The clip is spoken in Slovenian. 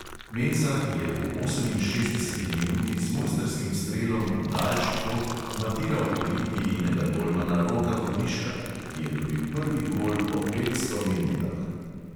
Mensa je v oseminšestdeseti minuti z mojstrskim strelom v daljši kot matiral olimpijinega golmana roka vodiška, ki je dobil prvi gol po petsto minutah!